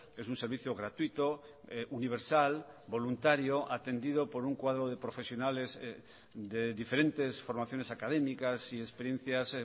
es un servicio gratuito universal voluntario atendido por un cuadro de profesionales de diferentes formaciones académicas y experiencias